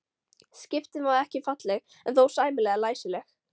Skriftin var ekki falleg en þó sæmilega læsileg.